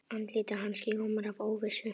Andlit hans ljómar af óvissu.